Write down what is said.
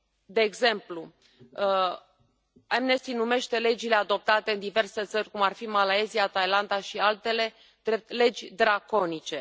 De exemplu, Amnesty numește legile adoptate în diverse țări, cum ar fi Malaysia, Thailanda și altele, drept legi draconice.